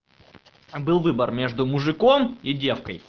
а был выбор между мужиком и девкой